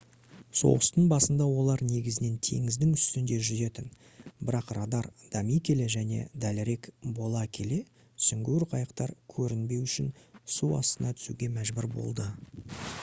соғыстың басында олар негізінен теңіздің үстінде жүзетін бірақ радар дами келе және дәлірек бола келе сүңгуір қайықтар көрінбеу үшін су астына түсуге мәжбүр болды